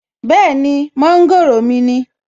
Bẹ́ẹ̀ni, mọ́ńgòrò ni